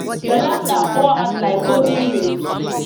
your laughter pour out like golden rays